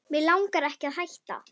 Mig langar ekki að hætta.